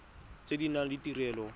tse di nang le ditirelo